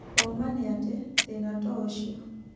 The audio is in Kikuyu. ũma nĩatĩ, thĩna toũcio.